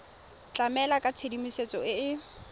tlamela ka tshedimosetso e e